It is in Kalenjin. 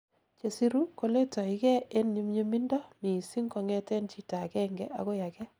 chesiru koletoigei en nyumnyumindo missing kongeten chito agenge agoi agei